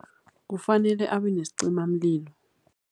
Kufanele abenesicimamlilo.